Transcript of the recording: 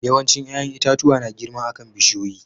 Yawancin yayan itatuwa na girma akan bishiyoyi.